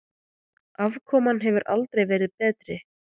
Afkoman hefur aldrei verið betri.